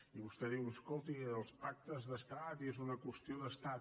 i vostè diu escolti els pactes d’estat i és una qüestió d’estat